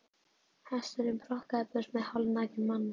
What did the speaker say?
Hesturinn brokkaði burt með hálfnakinn manninn.